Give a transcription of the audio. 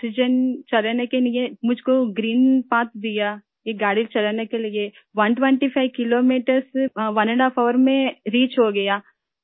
یہ آکسیجن چلانے کے لئے مجھ کو گرین پاتھ دیا گیا ، یہ گاڑی چلانے کے لئے 125 کلو میٹر ، ڈیڑھ گھنٹہ میں پہنچنا ہوتا ہے